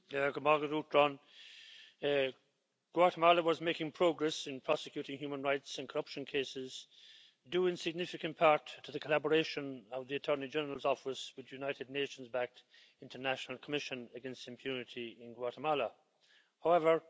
Mr President, Guatemala was making progress in prosecuting human rights and corruption cases due in significant part to the collaboration of the Attorney General's Office with the United Nations backed International Commission against Impunity in Guatemala However,